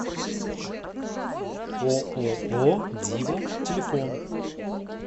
ооо дива телефон